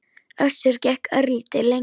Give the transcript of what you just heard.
Össur gekk örlítið lengra.